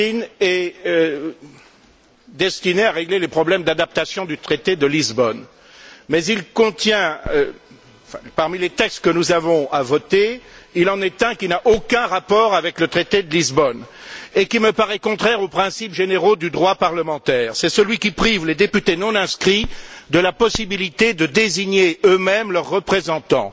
Martin est destiné à régler les problèmes d'adaptation du traité de Lisbonne, mais parmi les textes que nous avons à voter, il en est un qui n'a aucun rapport avec le traité de Lisbonne et qui me paraît contraire aux principes généraux du droit parlementaire, c'est celui qui prive les députés non inscrits de la possibilité de désigner eux mêmes leurs représentants.